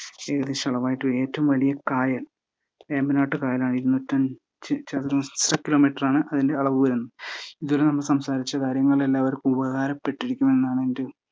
ഏകദേശ അളവായിട്ട് ഏറ്റവും വലിയ കായൽ വേമ്പനാട്ട് കായലാ ഇരുന്നൂറ്റിയഞ്ച് ചതുരശ്ര കിലോമീറ്ററാണ് അതിന്റെ അളവ് വരുന്നേ ഇതുവരെ സംസാരിച്ചകാര്യങ്ങൾ എല്ലാവർക്കും ഉപകാരപ്പെട്ടിരിക്കും എന്നാണ് എന്റെ ഒരു